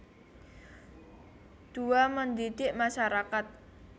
Dua Mendidik masyarakat